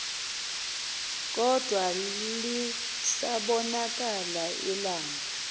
kodwa lisabonakala ilanga